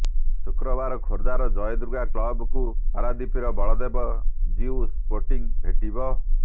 ଶୁକ୍ରବାର ଖୋର୍ଧାର ଜୟଦୁର୍ଗା କ୍ଲବକୁ ପାରାଦୀପର ବଳଦେବ ଜିୟୁ ସ୍ପୋଟିଂ ଭେଟିବ